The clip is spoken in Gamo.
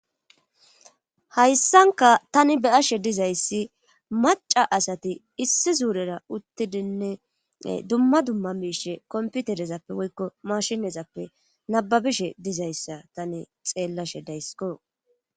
hayssankka tani be7ashe dizayssi macca asati issi zuurera uttidinne ee dumma dumma miishshe kompiterezappe woykko maashinezappe nabbabishe dizayssa tani xeellashe dayskko.